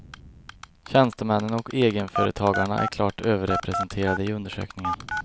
Tjänstemännen och egenföretagarna är klart överrepresenterade i undersökningen.